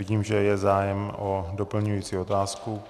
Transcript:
Vidím, že je zájem o doplňující otázku.